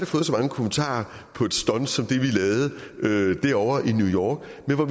fået så mange kommentarer på et stunt som det vi lavede derovre i new york